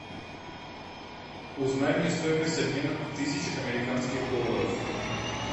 узнай мне стоимость обмена тысяч американских долларов